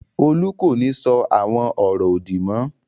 Olú kò ní sọ àwọn ọ̀rọ̀ òdì mọ́.